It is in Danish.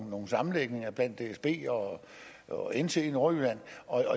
nogle sammenlægninger mellem dsb og nt i nordjylland